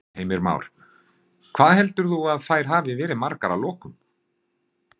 Heimir Már: Hvað heldur þú að þær hafi verið margar að lokum?